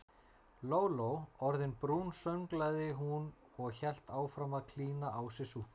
Lóló orðin brún sönglaði hún og hélt áfram að klína á sig súkkulaði.